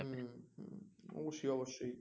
অবশ্যই অবশ্যই